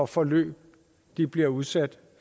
forløb de bliver udsat